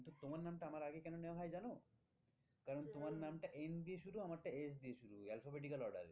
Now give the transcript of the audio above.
তো তোমার নামটা আমার আগে কেন নেওয়া হয় জানো? কারণ তোমার নামটা N দিয়ে শুরু আমারটা S দিয়ে শুরু alphabetical order এ